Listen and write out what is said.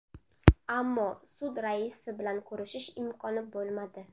Ammo sud raisi bilan ko‘rishish imkoni bo‘lmadi.